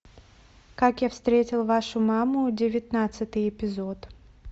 как я встретил вашу маму девятнадцатый эпизод